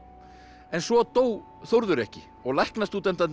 en svo dó Þórður ekki og